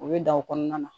U bɛ dan o kɔnɔna na